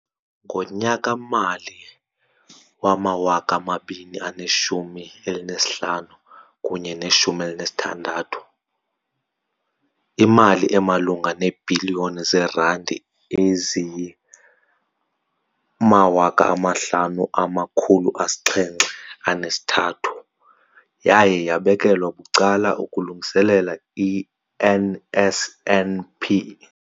Ngonyaka-mali wama-2015, 16, imali emalunga neebhiliyoni zeerandi eziyi-5 703 yaye yabekelwa bucala ukulungiselela i-NSNP.